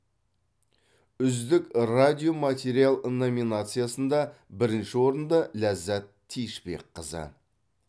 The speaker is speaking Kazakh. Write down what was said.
үздік радиоматериал номинациясында бірінші орынды ләззат тиышбекқызы